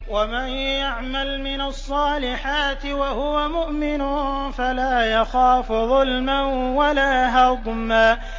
وَمَن يَعْمَلْ مِنَ الصَّالِحَاتِ وَهُوَ مُؤْمِنٌ فَلَا يَخَافُ ظُلْمًا وَلَا هَضْمًا